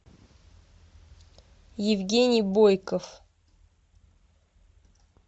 евгений бойков